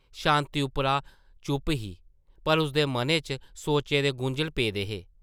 शांति उप्परा चुप्प ही पर उसदे मनै च सोचें दे गुंझल पेदे हे ।